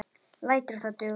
Lætur það duga.